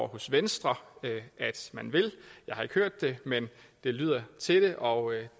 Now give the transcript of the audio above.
hos venstre at man vil jeg har ikke hørt det men det lyder til det og